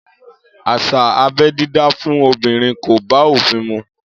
Áṣá ábẹ̀ didá fùn òbirin kò bà òfin mù